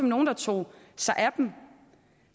nogen der tog sig af dem